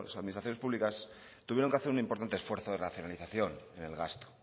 administraciones públicas tuvieron que hacer un importante esfuerzo de racionalización en el gasto